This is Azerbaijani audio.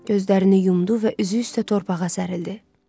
Gözlərini yumdu və üzü üstə torpağa sərildi.